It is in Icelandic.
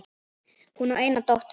Hún á eina dóttur.